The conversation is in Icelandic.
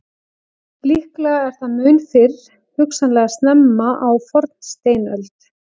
Líklega er það mun fyrr, hugsanlega snemma á fornsteinöld.